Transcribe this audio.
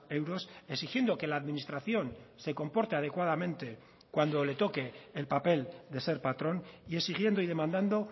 euros exigiendo que la administración se comporte adecuadamente cuando le toque el papel de ser patrón y exigiendo y demandando